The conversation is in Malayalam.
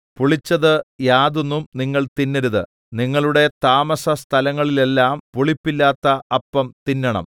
പുളിച്ചത് യാതൊന്നും നിങ്ങൾ തിന്നരുത് നിങ്ങളുടെ താമസസ്ഥലങ്ങളിലെല്ലാം പുളിപ്പില്ലാത്ത അപ്പം തിന്നണം